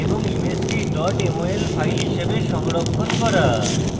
এবং ইমেজটি mol file হিসাবে সংরক্ষণ করা